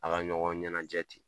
A ka ɲɔgɔn ɲɛnajɛ ten.